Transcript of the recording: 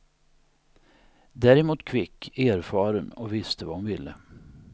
Däremot kvick, erfaren och visste vad hon ville.